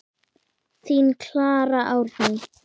Þín Klara Árný.